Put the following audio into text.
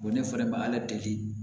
ne fana ma ala deli